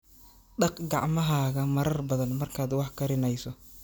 Dhaq gacmahaaga marar badan markaad wax karinayso.